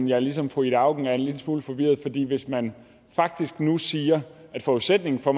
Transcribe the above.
jeg ligesom fru ida auken er en lille smule forvirret fordi hvis man faktisk nu siger at forudsætningen for